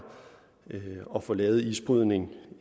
at få lavet isbrydning